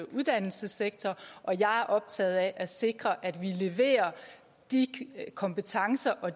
uddannelsessektor og jeg er optaget af at sikre at vi leverer de kompetencer og